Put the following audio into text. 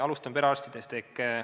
Alustan perearstidest.